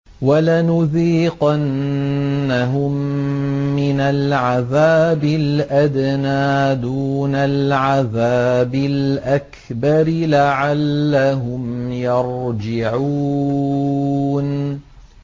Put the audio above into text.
وَلَنُذِيقَنَّهُم مِّنَ الْعَذَابِ الْأَدْنَىٰ دُونَ الْعَذَابِ الْأَكْبَرِ لَعَلَّهُمْ يَرْجِعُونَ